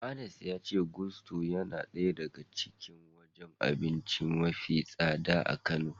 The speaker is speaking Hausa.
Anas ya ce Gusto yana daya daga cikin wajen abinci mafi tsada a Kano.